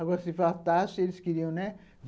Agora, se faltasse, eles queriam, né?